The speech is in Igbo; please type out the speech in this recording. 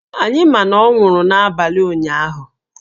Anyị ma na ọ nwụrụ n’abalị ụnyahụ